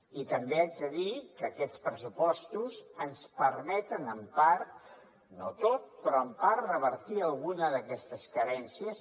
i també haig de dir que aquests pressupostos ens permeten en part no del tot però en part revertir alguna d’aquestes carències